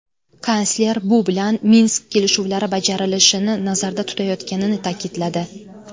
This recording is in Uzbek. Kansler bu bilan Minsk kelishuvlari bajarilishini nazarda tutayotganini ta’kidladi.